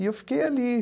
E eu fiquei ali.